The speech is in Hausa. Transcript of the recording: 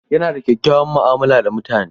Yana da kyakkyawar mu'amala da mutane.